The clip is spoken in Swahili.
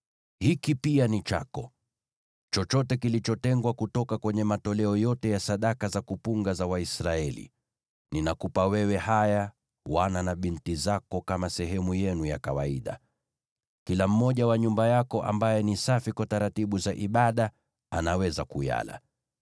“Hiki pia ni chako: chochote kilichotengwa kutoka kwenye matoleo yote ya sadaka za kuinuliwa za Waisraeli. Ninakupa wewe haya, wana na binti zako kama sehemu yenu ya kawaida. Kila mmoja wa nyumba yako ambaye ni safi kwa taratibu za ibada anaweza kuyala.